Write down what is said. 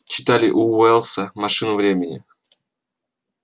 читали у уэллса машину времени